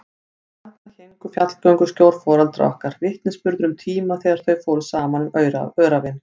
Og þarna héngu fjallgönguskór foreldra okkar, vitnisburður um tíma þegar þau fóru saman um öræfin.